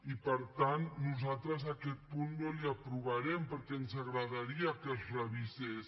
i per tant nosaltres aquest punt no l’hi aprovarem perquè ens agradaria que es revisés